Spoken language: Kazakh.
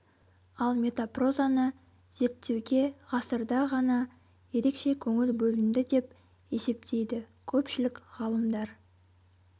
ал метапрозаны зерттеуге ғасырда ғана ерекше көңіл бөлінді деп есептейді көпшілік ғалымдар